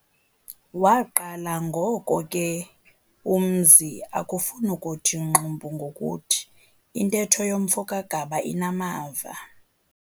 Waqala ngoko ke umzi ukufun'ukuthi ngxumbu ngokuthi, intetho yomfo kaGaba inamava.